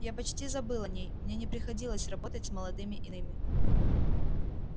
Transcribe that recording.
я почти забыл о ней мне не приходилось работать с молодыми иными